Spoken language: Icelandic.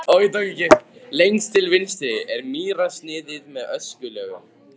Lengst til vinstri er mýrarsniðið með öskulögum.